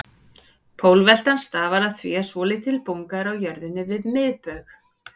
Pólveltan stafar af því að svolítil bunga er á jörðinni við miðbaug.